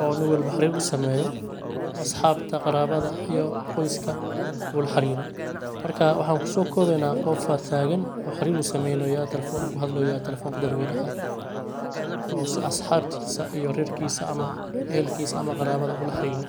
oo nin walbo xarir u sameeyo asxabta qarabada iyo qoyska u laxariro marka waxaan kusookoobeyna qofaa taagan oo xarir sameynooya telefon uu ku hadlooya telefonka dadweynaha oo si asxabtiisa iyo rerkiisa ama ehelkiisa ama qarabada u la xariro.